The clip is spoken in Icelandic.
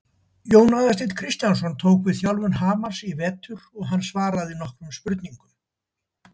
Jón Aðalsteinn Kristjánsson tók við þjálfun Hamars í vetur og hann svaraði nokkrum spurningum.